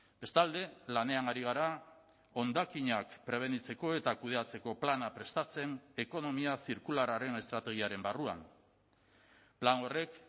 bestalde lanean ari gara hondakinak prebenitzeko eta kudeatzeko plana prestatzen ekonomia zirkularraren estrategiaren barruan plan horrek